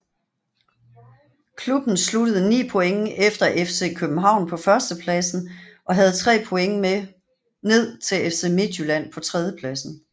Klubben sluttede 9 point efter FC København på førstepladsen og havde 3 point ned til FC Midtjylland på tredjepladsen